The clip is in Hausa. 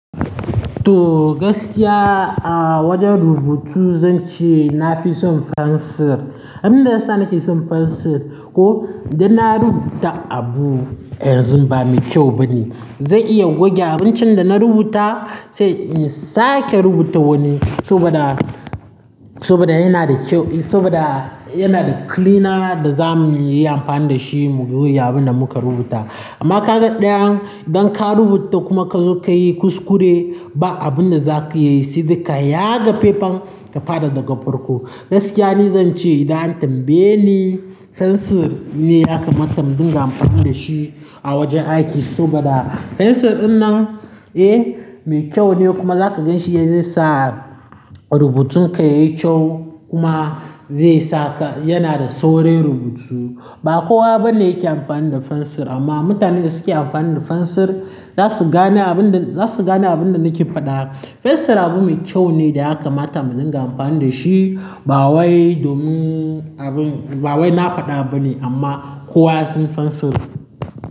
To gaskiya a wajen rubutu zan ce nafi son fensir. Abun da ya sa nake son fensir ko idan na rubuta abu yanzu ba mai kyau bane, zan iya goge abun can da na rubuta sai in sake rubuta wani saboda, saboda yana da kyau saboda yana da cleaner da zamuyi amfani da shi mu goge abun da muka rubuta. Amma ka ga ɗayan idan ka rubuta kuma ka zo ka yi kuskure ba abun da zaka iya yi sai dai ka yaga fefan ka fada daga farko. Gaskiya ni zan ce idan an tambaye ni fensir ne ya kamata in dimga amfani da shi a wajen aiki saboda fensir dinnan eh mai kyau ne kuma zaka gan shi ya zai sa rubutun ka yayi kyau kuma zai saka yana da saurin rubutu. Ba kowa bane yake amfani da fensir amma mutanen da suke amfani da fensir zasu gane abun da, zasu gane abun da nake faɗa. Fensir abu mai kyau ne da ya kamata mu dinga amfani da shi ba wai domin abun ba wai na faɗa bane amma kowa ya san fensir.